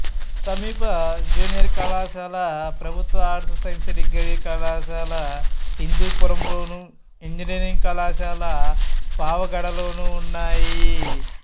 సమీప జూనియర్ కళాశాల ప్రభుత్వ ఆర్ట్స్ సైన్స్ డిగ్రీ కళాశాల హిందూపురంలోను ఇంజనీరింగ్ కళాశాల పావగడలోనూ ఉన్నాయి